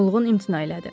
Mulğqn imtina elədi.